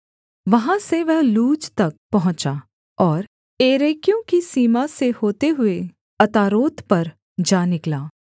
वहाँ से वह लूज तक पहुँचा और एरेकियों की सीमा से होते हुए अतारोत पर जा निकला